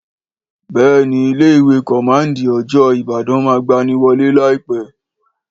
Béèni ilé ìwé còmándì ni òjòó Ìbàdàn máà gbaniwolé láìpé